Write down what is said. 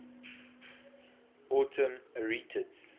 autumn arietids